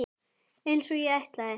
Einsog ég ætlaði.